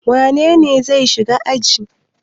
Wane ne zai shiga aji?